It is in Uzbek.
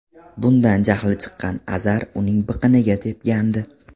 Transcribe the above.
Bundan jahli chiqqan Azar uning biqiniga tepgandi.